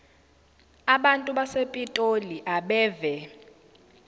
abantu basepitoli abeve